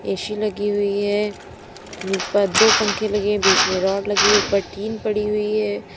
AC लगी हुई है ऊपर दो पंखे लगे हैं बीच में रॉड लगी ऊपर टीन पड़ी हुई है।